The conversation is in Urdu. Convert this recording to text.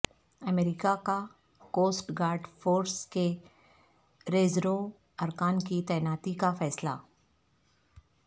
امریکہ کا کوسٹ گارڈ فورس کے ریزرو ارکان کی تعیناتی کا فیصلہ